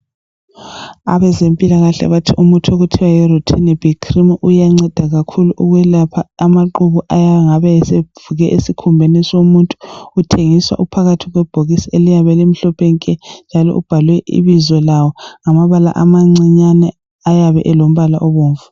Abezempilakahle bathi umuthi okuthiwa yi"Rutinib Cream"uyanceda kakhulu ukwelapha amaqubu ayangabe evuke esikhumbeni somuntu .Uthengiswa uphakathi kwebhokisi eliyabe limhlophe nke njalo ubhalwe ibizo lawo ngamabala amancinyane ayabe elombala obomvu.